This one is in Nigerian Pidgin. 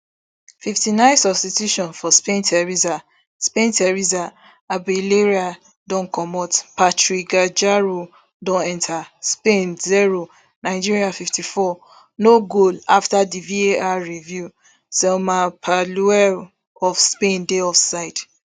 fifty-nine substitution for spainteresa spainteresa abelleira don comot patri guijarro don enta spain zero nigeria fifty-fourno goal afta divar review salma parallueloof spain dey offside